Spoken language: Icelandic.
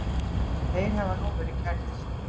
Þeir hafa nú verið kærðir